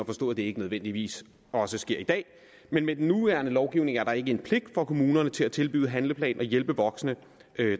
forstå at det ikke nødvendigvis også sker i dag men med den nuværende lovgivning er der ikke en pligt for kommunerne til at tilbyde en handleplan og hjælpe voksne